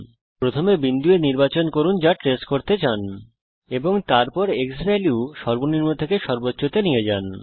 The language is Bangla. প্রথমে বিন্দু A নির্বাচন করুন যা আপনি ট্রেস করতে চান এবং তারপর ক্সভ্যালিউ সর্বনিম্ন থেকে সর্বোচ্চ তে নিয়ে যান